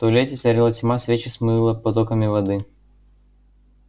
в туалете царила тьма свечи смыло потоками воды